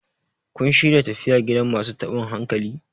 kun shirya tafiya gidan masu tabin hankali?